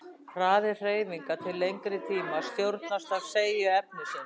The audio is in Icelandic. Hraði hreyfinga til lengri tíma stjórnast af seigju efnisins.